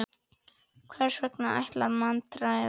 Hvers vegna lækkar myntráð vexti?